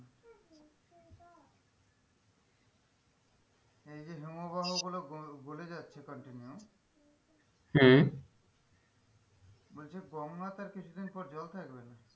এই যে হিমবাহ গুলো গলে যাচ্ছে continue হম বলছে গঙ্গাতে আর কিছু দিন পর জল থাকবে না,